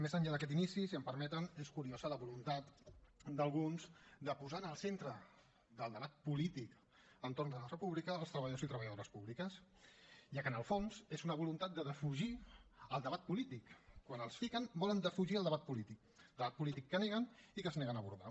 més enllà d’aquest inici si em permeten és curiosa la voluntat d’alguns de posar en el centre del debat polític entorn de la república els treballadors i treballadores públiques ja que en el fons és una voluntat de defugir el debat polític quan els fiquen volen defugir el debat polític debat polític que neguen i que es neguen a abordar